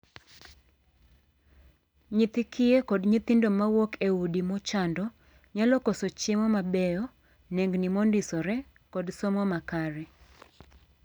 Nyithii kiye kod nyithindo mawuok e udi mochando nyalo koso chiemo mabeyo, nengni mondisore, kod somo makare.